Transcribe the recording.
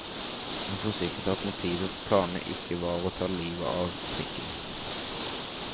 Han forsikret at motivet for planene ikke var å ta livet av trikken.